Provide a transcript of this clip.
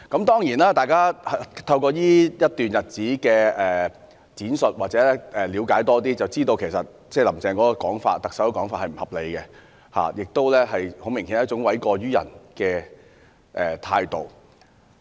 當然，經過這段日子的闡述，大家有更多的了解，從而知道"林鄭"的說法並不合理，顯然是一種諉過於人的態度。